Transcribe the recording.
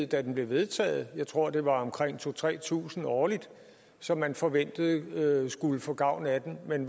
da den blev vedtaget jeg tror at det var omkring to tusind tre tusind årligt som man forventede skulle få gavn af den men